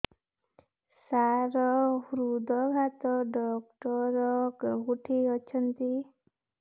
ସାର ହୃଦଘାତ ଡକ୍ଟର କେଉଁଠି ଅଛନ୍ତି